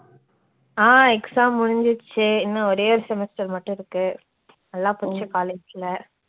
ஆஹ் exam முடிஞ்சிருச்சு, இன்னும் ஒரேயொரு semester மட்டும் இருக்கு நல்லா பிடிச்ச college ல